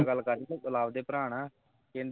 ਗੱਲ ਕਰਦੀ ਹੈਂ ਲਵ ਦੇ ਭਰਾ ਨਾਲ ਕਹਿੰਦੀ